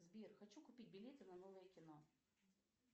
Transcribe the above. сбер хочу купить билеты на новое кино